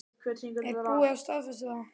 Er búið að staðfesta það?